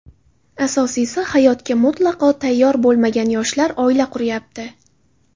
Asosiysi hayotga mutlaqo tayyor bo‘lmagan yoshlar oila quryapti.